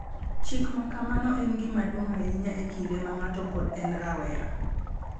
Chik ma kamano en gima duong’ ahinya e kinde ma ng’ato pod en rawera, .